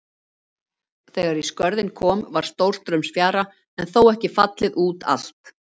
Þegar í Skörðin kom var stórstraumsfjara en þó ekki fallið út allt.